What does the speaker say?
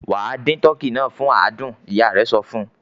"Wà á dín tọkî náà fún àádùn!" Ìyá rẹ̀ sọ fún.